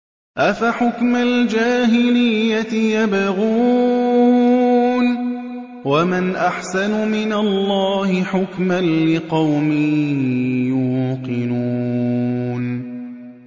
أَفَحُكْمَ الْجَاهِلِيَّةِ يَبْغُونَ ۚ وَمَنْ أَحْسَنُ مِنَ اللَّهِ حُكْمًا لِّقَوْمٍ يُوقِنُونَ